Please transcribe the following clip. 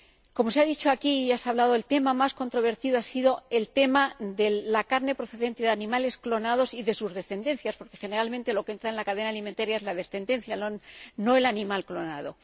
Como se ha dicho aquí, el tema más controvertido ha sido el de la carne procedente de animales clonados y de su descendencia, porque generalmente lo que entra en la cadena alimentaria es la descendencia, no el animal clonado.